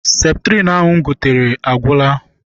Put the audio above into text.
Septrin ahụ m gotere agwụla.